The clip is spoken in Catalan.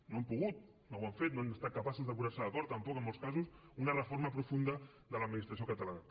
no han pogut no ho han fet no han estat capaços de posar se d’acord tampoc en molts casos una reforma profunda de l’administració catalana